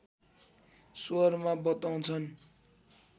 स्वरमा बताउँछन्